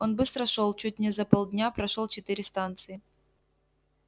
он быстро шёл чуть не за полдня прошёл четыре станции